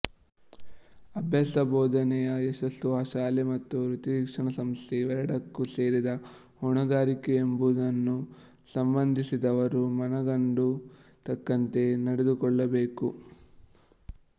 ಅಭ್ಯಾಸಬೋಧನೆಯ ಯಶಸ್ಸು ಆ ಶಾಲೆ ಮತ್ತು ವೃತ್ತಿಶಿಕ್ಷಣಸಂಸ್ಥೆ ಇವೆರಡಕ್ಕೂ ಸೇರಿದ ಹೊಣೆಗಾರಿಕೆಯೆಂಬುದನ್ನು ಸಂಬಂಧಿಸಿದವರು ಮನಗಂಡು ತಕ್ಕಂತೆ ನಡೆದುಕೊಳ್ಳಬೇಕು